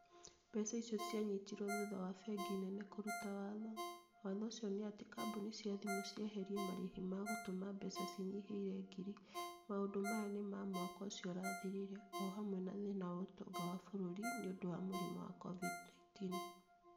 Mbeca icio cianyitirwo thutha wa Bengi nene kũruta watho. Watho ũcio ni atĩ kambuni cia thimũ cieherie marehi wa gũtũma mbeca cinyihĩire ngiri .Maũndũ maya ni ma Mwaka ũcio ũrathirire. O hamwe na thĩna wa ũtonga wa bũrũri nĩ ũndũ wa mũrimũ wa COVID-19.